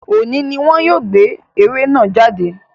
Òní ni wọ́n yóò gbé eré náà jáde